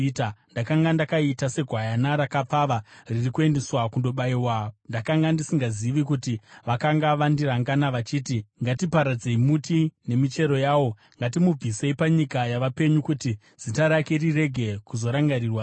Ndakanga ndakaita segwayana rakapfava riri kuendeswa kundobayiwa; ndakanga ndisingazivi kuti vakanga vandirangana, vachiti, “Ngatiparadzei muti nemichero yawo; ngatimubvisei panyika yavapenyu, kuti zita rake rirege kuzorangarirwazve.”